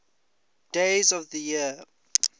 days of the year